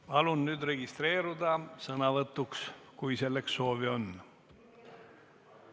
Palun registreeruda sõnavõtuks, kui selleks soovi on!